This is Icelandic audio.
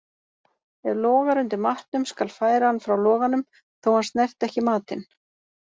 Ef logar undir matnum skal færa hann frá loganum, þó hann snerti ekki matinn.